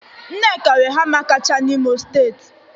Nneka nwe hama kacha n'Imo steeti.